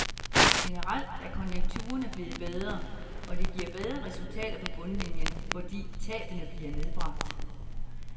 Generelt er konjekturerne blevet bedre, og det giver bedre resultater på bundlinien, fordi tabene bliver nedbragt.